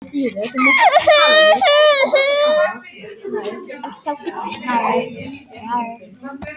Fleiri mannvirki voru ekki í